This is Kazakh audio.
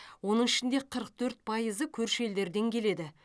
оның ішінде қырық төрт пайызы көрші елдерден келеді